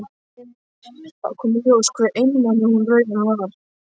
Þá kom í ljós hve einmana hún raunar var.